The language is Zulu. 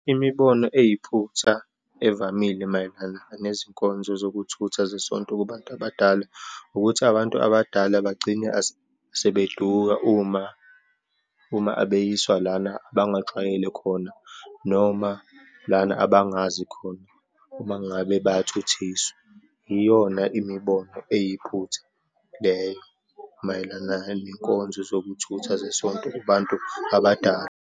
Imibono eyiphutha evamile mayelana nezinkonzo zokuthutha zesonto kubantu abadala, ukuthi abantu abadala bagcine sebeduka uma, uma abeyiswa lana abangajwayele khona, noma lana abangazi khona uma ngabe bayathuthiswa. Iyona imibono eyiphutha leyo mayelana nenkonzo zokuthutha zesonto kubantu abadala.